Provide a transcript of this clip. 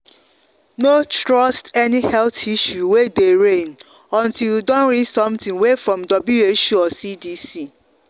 no trust any health issue way dey reign o untill you don read something way from who or cdc.